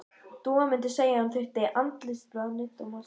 Dúa mundi segja að hún þyrfti andlitsbað, nudd og maska.